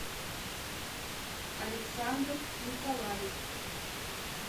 александр николаев